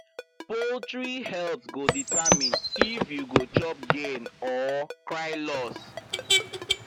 poultry health go determine if you go chop gain or cry loss